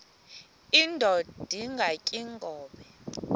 indod ingaty iinkobe